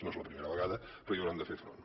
no és la primera vegada però hi hauran de fer front